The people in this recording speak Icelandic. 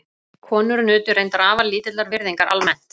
Konur nutu reyndar afar lítillar virðingar almennt.